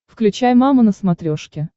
включай мама на смотрешке